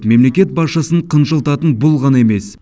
мемлекет басшысын қынжылтатын бұл ғана емес